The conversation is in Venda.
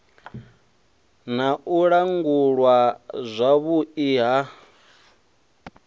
na u langulwa zwavhui ha